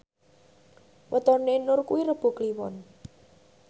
wetone Nur kuwi Rebo Kliwon